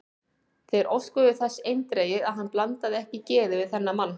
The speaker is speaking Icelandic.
Þeir óskuðu þess eindregið, að hann blandaði ekki geði við þennan mann.